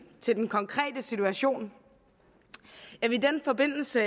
til den konkrete situation jeg vil i den forbindelse